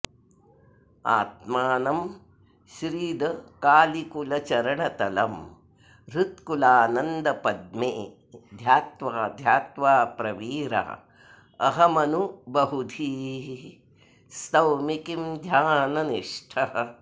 आत्मानं श्रीदकालीकुलचरणतलं हृत्कुलानन्दपद्मे ध्यात्वा ध्यात्वा प्रवीरा अहमनुबहुधीः स्तौमि किं ध्याननिष्ठः